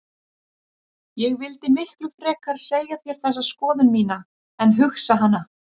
Ég vildi miklu frekar segja þér þessa skoðun mína en hugsa hana.